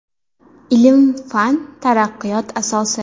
Ilm-fan – taraqqiyot asosi.